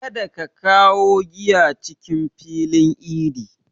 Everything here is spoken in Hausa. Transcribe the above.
Kada ka kawo giya cikin filin idi!